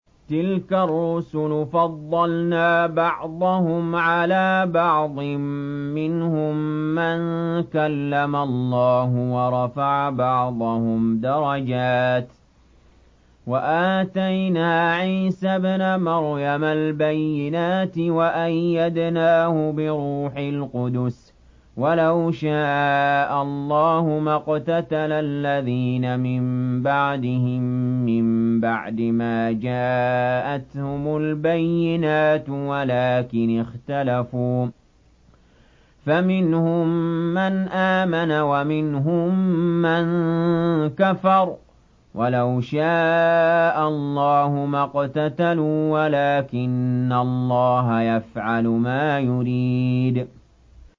۞ تِلْكَ الرُّسُلُ فَضَّلْنَا بَعْضَهُمْ عَلَىٰ بَعْضٍ ۘ مِّنْهُم مَّن كَلَّمَ اللَّهُ ۖ وَرَفَعَ بَعْضَهُمْ دَرَجَاتٍ ۚ وَآتَيْنَا عِيسَى ابْنَ مَرْيَمَ الْبَيِّنَاتِ وَأَيَّدْنَاهُ بِرُوحِ الْقُدُسِ ۗ وَلَوْ شَاءَ اللَّهُ مَا اقْتَتَلَ الَّذِينَ مِن بَعْدِهِم مِّن بَعْدِ مَا جَاءَتْهُمُ الْبَيِّنَاتُ وَلَٰكِنِ اخْتَلَفُوا فَمِنْهُم مَّنْ آمَنَ وَمِنْهُم مَّن كَفَرَ ۚ وَلَوْ شَاءَ اللَّهُ مَا اقْتَتَلُوا وَلَٰكِنَّ اللَّهَ يَفْعَلُ مَا يُرِيدُ